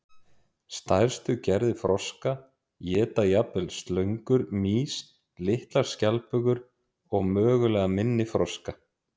Stærstu gerðir froska éta jafnvel slöngur, mýs, litlar skjaldbökur og mögulega minni froska.